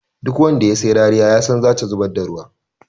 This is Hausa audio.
Duk wanda ya sai rariya yasan zata zubar da ruwa.